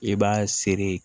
I b'a seri